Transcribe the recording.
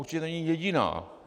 Určitě není jediná.